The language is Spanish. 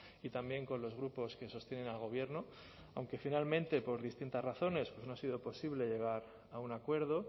y también con los grupos que sostienen al gobierno aunque finalmente por distintas razones no ha sido posible llegar a un acuerdo